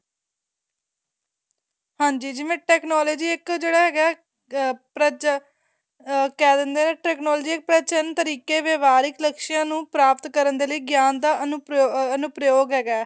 ਹਾਂਜੀ ਜਿਵੇਂ technology ਇੱਕ ਜਿਹੜਾ ਹੈਗਾ ਏ ਅਹ ਪ੍ਰਵ ਅਹ ਕਹਿ ਦਿੰਦੇ ਨੇ technology ਇੱਕ ਪ੍ਰਵਚਨ ਤਰੀਕੇ ਵਿਵਾਰਕ ਲੱਕਸਾਂ ਨੂੰ ਪ੍ਰਪਾਤ ਕਰਨ ਦੇ ਲਈ ਗਿਆਨ ਦਾ ਅਨੁਪ੍ਰਯੋਗ ਹੈਗਾ